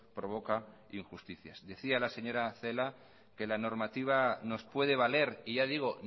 provoca injusticias decía la señora celaá que la normativa nos puede valer y ya digo